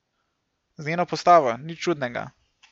Z njeno postavo, nič čudnega!